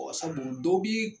sabu dɔ bi